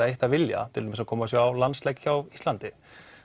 eitt að vilja til dæmis að koma og sjá landsleik hjá Íslandi